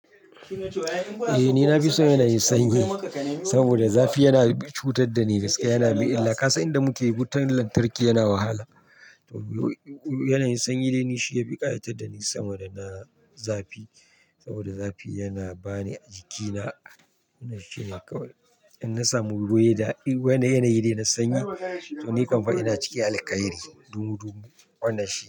Eh ni na fi son yanayin sanyi, saboda zafi yana cutar da ni gaskiya yana mi illa. Kasan inda muke, wutan lantarki yana wahala. To yanayin sanyi dai ni shi ya fi kayatar da ni sama da na zafi. Saboda zafi yana bani jikina wannan shine kawai. In na samu guri da yanayi dai na sanyi to ni kam fa ina ciki alƙairi, dumudumu wannan shi.